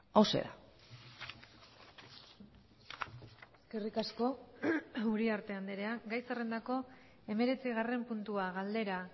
hauxe da eskerrik asko uriarte andrea gai zerrendako hemeretzigarren puntua galdera